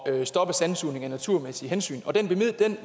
at stoppe sandsugning af naturmæssige hensyn og den